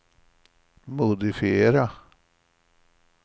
modifiera